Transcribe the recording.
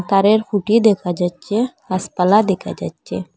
তারের খুঁটি দেখা যাচ্ছে গাসপালা দেখা যাচ্ছে।